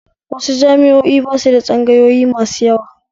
Wasu jami'o'in basu da tsangayoyi masu yawa